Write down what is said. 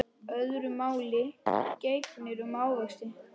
Öðru máli gegnir um ávexti.